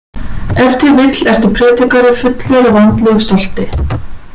Ef til vill ertu prédikari fullur af andlegu stolti.